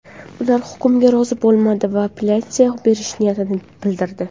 Ular hukmga rozi bo‘lmadi va apellyatsiya berish niyatini bildirdi.